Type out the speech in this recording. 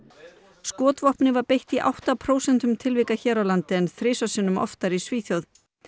skotvopni var beitt í átta prósentum tilvika hér á landi en þrisvar sinnum oftar í Svíþjóð